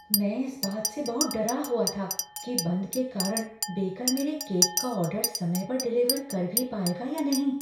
मैं इस बात से बहुत डरा हुआ था कि बंद के कारण बेकर मेरे केक का ऑर्डर समय पर डिलीवर कर भी पाएगा या नहीं।